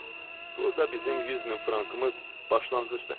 Burda bizim 100 min frankımız başlanğıcdır.